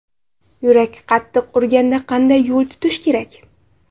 Yurak qattiq urganda qanday yo‘l tutish kerak?.